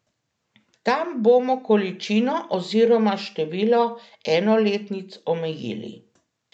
Tam bomo količino oziroma število enoletnic omejili.